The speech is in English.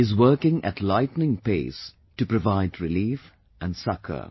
is working at lightning pace to provide relief and succour